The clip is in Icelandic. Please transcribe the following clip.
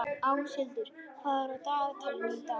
Áshildur, hvað er á dagatalinu í dag?